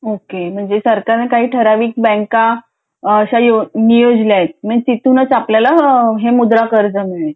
okay म्हणजे सरकारने काही ठराविक बँका अश्या नियोजल्या आहेत तिथूनच आपण आपल्याला हे मुद्रा कर्ज मिळेल